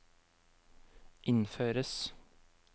innføres